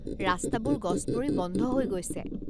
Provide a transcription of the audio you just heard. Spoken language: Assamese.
ৰাস্তাবোৰ গছ পৰি বন্ধ হৈ গৈছে।